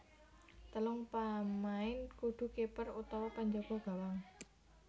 Telung pamain kudu kiper utawa panjaga gawang